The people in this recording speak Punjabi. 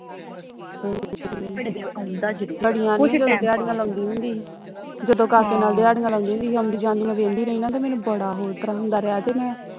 ਦਿਹਾੜੀਆਂ ਲਾਉਂਦੀ ਹੁੰਦੀ ਹੀ ਜਦੋਂ ਕਾਕੇ ਨਾਲ ਦਿਹਾੜੀਆਂ ਲਾਉਂਦੀਆਂ ਹੁੰਦੀ ਹੀ ਆਉਂਦੀ ਜਾਂਦੀ ਮੈਂ ਵੇਹਦੀ ਰਹੀ ਨਾ ਤੇ ਮੈਨੂੰ ਬੜਾ ਹੋਰ ਤਰ੍ਹਾਂ ਹੁੰਦਾ ਰਿਹਾ ਤੇ ਮੈਂ